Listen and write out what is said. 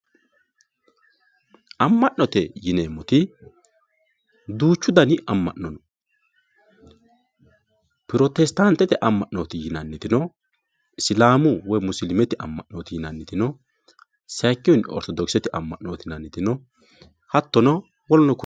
amma'note yineemmoti duuchu dani amma'no no pirotestaantete amma'nooti yinanniti no isilaamu woy musilimete amma'nooti yinanniti no sayiikkihunni ortodokisete amma'nooti yinanniti no hattono woluno konne.